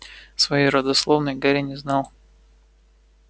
своей родословной гарри не знал